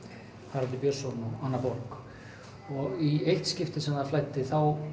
Haraldur Björnsson og Anna borg í eitt skipti sem flæddi